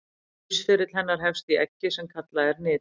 lífsferill hennar hefst í eggi sem kallað er nit